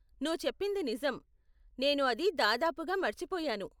నువ్వు చెప్పింది నిజం, నేను అది దాదాపుగా మర్చిపోయాను.